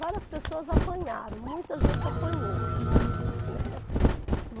Várias pessoas apanharam, muita gente apanhou, né.